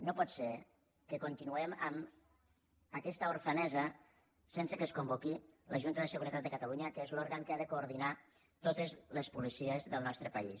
no pot ser que continuem amb aquesta orfenesa sense que es convoqui la junta de seguretat de catalunya que és l’òrgan que ha de coordinar totes les policies del nostre país